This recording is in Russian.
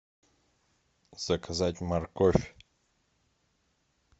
заказать морковь